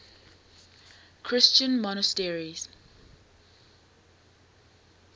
christian monasteries